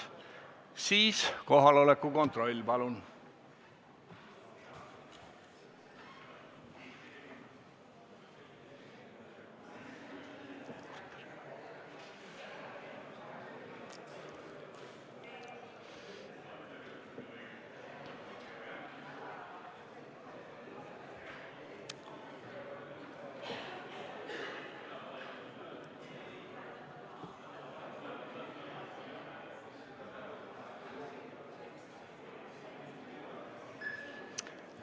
Siis kohaloleku kontroll, palun!